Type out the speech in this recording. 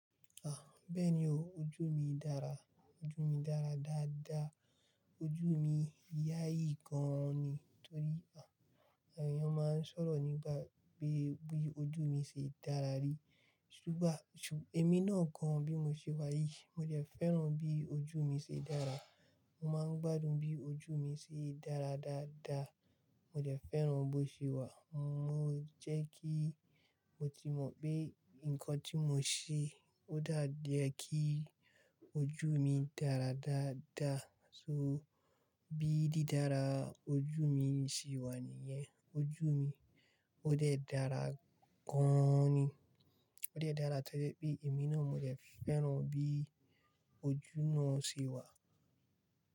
Bẹ́ẹ̀ni o, ojú mi dára, ojú mi dára dáadáa. Ojú mi yáyì gan ni. Torí àwọn èèyàn máa ń sọ̀rọ̀ nígbà pé bí ojú mi ṣe dára rí. Ṣùgbá, èmi náà gan bí mo ṣe wáyìí. Mo dẹ̀ fẹ́ràn bí ojú mi ṣe dára. Mo máa ń gbádùn bí ojú mi ṣe dára dáadáa. Mo dẹ̀ fẹ́ràn bó ṣe wà. Mo jẹ́ kí mo tì mo pé ǹkan tí mo ṣe odà jẹ́ kí ojú mi dára dáadá. So bí dí dára ojú mi ṣe wà níyẹn. Ojú mi ó dẹ̀ dára gan ni. Ó jẹ̀ dára tẹ́lẹ̀ pé èmi náà mo jẹ̀ fẹ́ràn bí ojú náà ṣe wà.